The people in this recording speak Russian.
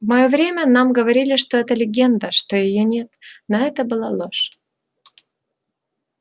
в моё время нам говорили что это легенда что её нет но это была ложь